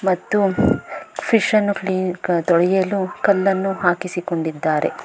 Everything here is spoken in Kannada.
ಮತ್ತು ಫಿಶ್ ಅನ್ನು ಕ್ಲಿನ್ ಕ ತೊಳೆಯಲು ಕಲ್ಲನ್ನು ಹಾಕಿಸಿ ಕೊಂಡಿದ್ದಾರೆ.